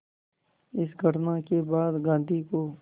इस घटना के बाद गांधी को